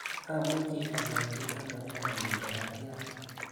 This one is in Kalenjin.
Amuchi anyorchi ano eng oli chapatiat.